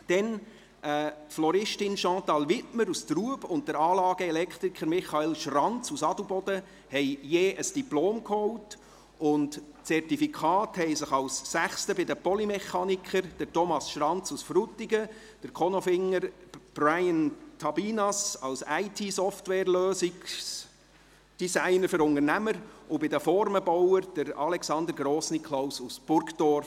Die Floristin Chantal Wiedmer aus Trub und der Anlageelektriker Michael Schranz aus Adelboden holten je ein Diplom, und Zertifikate holten sich als sechster bei den Polymechanikern Thomas Schranz aus Frutigen, der Konolfinger Bryan Tabinas als IT-Software-Lösungsdesigner für Unternehmen und bei den Formenbauern Alexander Grossniklaus aus Burgdorf.